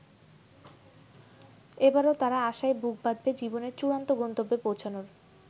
এবারও তারা আশায় বুক বাঁধবে জীবনের চূড়ান্ত গন্তব্যে পৌঁছানোর।